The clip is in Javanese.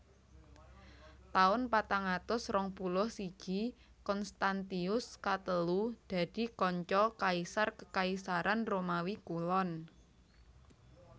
Taun patang atus rong puluh siji Konstantius katelu dadi kanca kaisar Kekaisaran Romawi Kulon